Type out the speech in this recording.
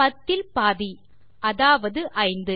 10 இல் பாதி அதாவது 5